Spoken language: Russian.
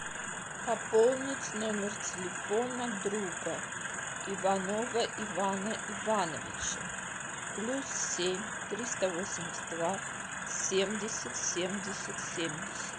пополнить номер телефона друга иванова ивана ивановича плюс семь триста восемьдесят два семьдесят семьдесят семьдесят